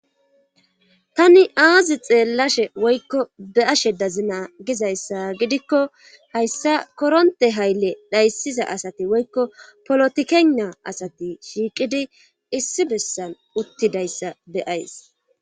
tani aazi xeellashe woykko be'ashe dazina gizayssa gidikko hayssa koronte hayle dhayssiza asati woykko polotikeynna asati shiiqidi issi bessan uttidayssa be7ays.